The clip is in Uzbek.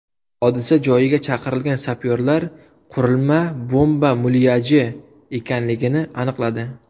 Hodisa joyiga chaqirilgan sapyorlar qurilma bomba mulyaji ekanligini aniqladi.